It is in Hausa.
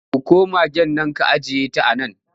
Dauko magaen nan ka ajiyeta a nan!